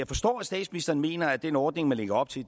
forstår at statsministeren mener at den ordning man lægger op til